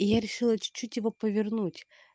и я решила чуть-чуть его повернуть